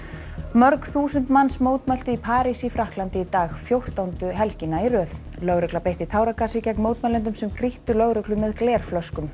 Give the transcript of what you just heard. mörg þúsund manns mótmæltu í París í Frakklandi í dag fjórtándu helgina í röð lögregla beitti táragasi gegn mótmælendum sem grýttu lögreglu með glerflöskum